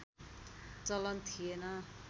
चलन थिएन